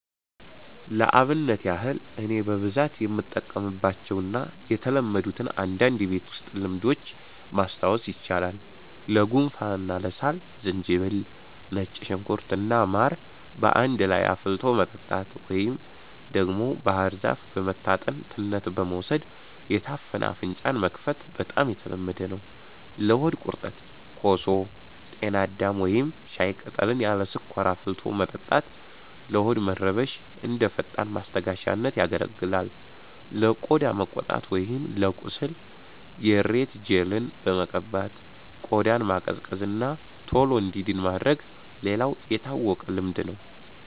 ለአብነት ያህል እኔ በብዛት የምጠቀምባቸውን እና የተለመዱትን አንዳንድ የቤት ውስጥ ልምዶች ማስታወስ ይቻላል፦ ለጉንፋን እና ለሳል፦ ዝንጅብል፣ ነጭ ሽንኩርት እና ማር በአንድ ላይ አፍልቶ መጠጣት፣ ወይም ደግሞ ባህር ዛፍ በመታጠን ትነት በመውሰድ የታፈነ አፍንጫን መክፈት በጣም የተለመደ ነው። ለሆድ ቁርጠት፦ ኮሶ፣ ጤና አዳም ወይም ሻይ ቅጠልን ያለ ስኳር አፍልቶ መጠጣት ለሆድ መረበሽ እንደ ፈጣን ማስታገሻነት ያገለግላል። ለቆዳ መቆጣት ወይም ለቁስል፦ የሬት ጄልን በመቀባት ቆዳን ማቀዝቀዝ እና ቶሎ እንዲድን ማድረግ ሌላው የታወቀ ልምድ ነው።